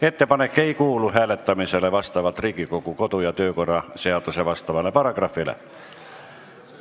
Ettepanek ei kuulu hääletamisele vastavalt Riigikogu kodu- ja töökorra seaduse asjaomasele paragrahvile.